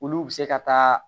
Olu bɛ se ka taa